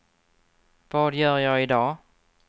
vad gör jag idag